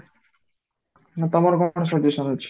ମାନେ ତାଙ୍କର ପାଖରେ solution ଅଛି